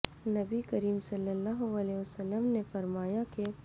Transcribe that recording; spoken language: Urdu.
نبی کریم صلی اللہ علیہ وسلم نے فرمایا کہ